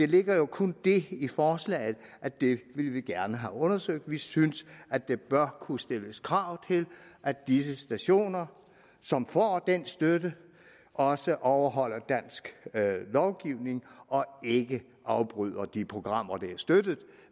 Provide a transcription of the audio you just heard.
ligger jo kun det i forslaget at det vil vi gerne have undersøgt vi synes at der bør kunne stilles krav til at disse stationer som får den støtte også overholder dansk lovgivning og ikke afbryder de programmer der er støttet